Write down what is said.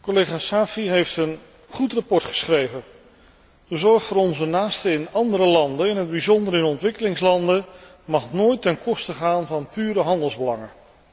Collega Saïfi heeft een goed verslag geschreven. De zorg voor onze naasten in andere landen, in het bijzonder in ontwikkelingslanden, mag nooit ten koste gaan van pure handelsbelangen.